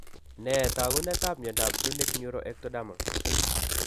Nee taakunetaab myondap Zunich neuroectodermal?